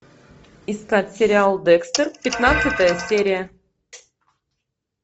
искать сериал декстер пятнадцатая серия